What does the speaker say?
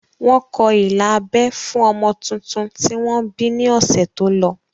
Wọ́n kọ ilà abẹ́ fún ọmọ tuntun tí wọ́n bí ní ọ̀sẹ̀ tó lọ